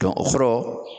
o kɔrɔ